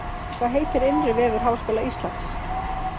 Hvað heitir innri vefur Háskóla Íslands?